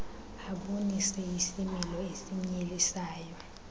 abonise isimilo esinyelisayo